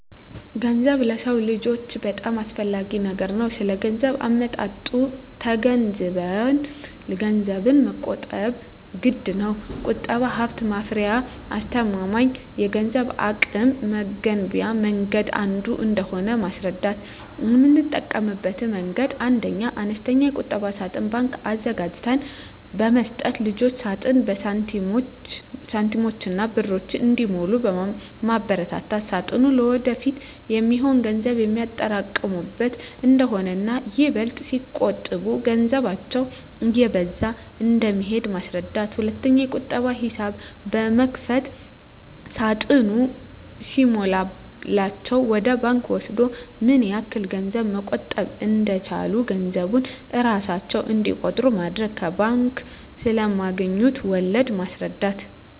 ገንዘብ ለሰው ልጆች በጣም አስፈላጊ ነገር ነው ስለገንዘብ አመጣጡ ተገንዝበንም ገንዘብን መቆጠብ ግድነው። ቁጠባ ሀብት ማፍሪያና አስተማማኝ የገንዘብ አቅም መገንቢያ መንገድ አንዱ እንደሆነ ማስረዳት: የምጠቀምበት መንገድ 1ኛ, አነስተኛ የቁጠባ ሳጥን (ባንክ) አዘጋጅተን በመስጠት ልጆች ሳጥኑን በሳንቲሞችና በብር እንዲሞሉ ማበርታት ሳጥኑ ለወደፊት የሚሆን ገንዘብ የሚያጠራቅሙበት እንደሆነና ይበልጥ ሲቆጥቡ ገንዘባቸው እየበዛ እንደሚሄድ ማስረዳት። 2ኛ, የቁጠባ ሂሳብ በመክፈት ሳጥኑ ሲሞላላቸው ወደ ባንክ ወስደው ምን ያህል ገንዘብ መቆጠብ እንደቻሉ ገንዘቡን እራሳቸው እንዲቆጥሩ ማድረግ። ከባንክ ስለማገኙት ወለድ ማስረዳት።